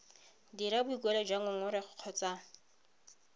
dira boikuelo jwa ngongorego kgotsa